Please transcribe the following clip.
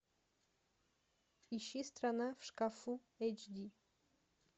ищи страна в шкафу эйч ди